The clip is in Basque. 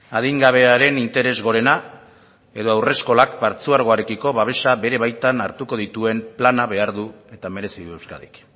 adingabearen interes gorena edo haurreskolak partzuergoarekiko babesa bere baitan hartuko dituen plana behar du eta merezi du euskadik